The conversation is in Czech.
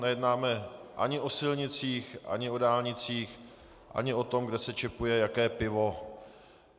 Nejednáme ani o silnicích, ani o dálnicích, ani o tom, kde se čepuje jaké pivo.